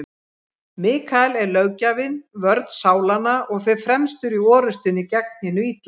Mikael er löggjafinn, vörn sálanna, og fer fremstur í orrustunni gegn hinu illa.